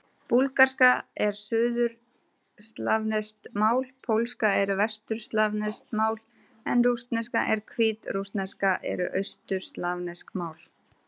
Búlgarska er suðurslavneskt mál, pólska er vesturslavneskt mál en rússneska og hvítrússneska eru austurslavnesk mál.